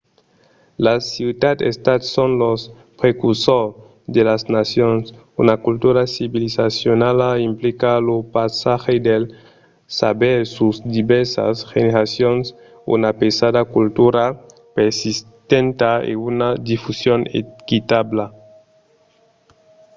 las ciutats-estats son los precursors de las nacions. una cultura civilizacionala implica lo passatge del saber sus divèrsas generacions una pesada culturala persistenta e una difusion equitabla